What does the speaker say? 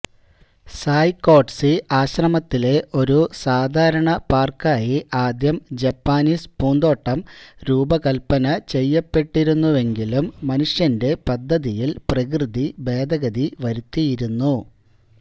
സായ്കോഡ്സി ആശ്രമത്തിലെ ഒരു സാധാരണ പാർക്കായി ആദ്യം ജപ്പാനീസ് പൂന്തോട്ടം രൂപകൽപ്പന ചെയ്യപ്പെട്ടിരുന്നുവെങ്കിലും മനുഷ്യന്റെ പദ്ധതിയിൽ പ്രകൃതി ഭേദഗതി വരുത്തിയിരുന്നു